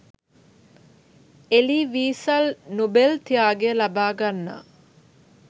එලී Wiesel Nobel ත්‍යාගය ලබාගන්නා